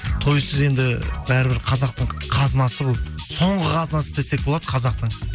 тойсыз енді бәрібір қазақтың қазынасы бұл соңғы қазынасы десек болады қазақтың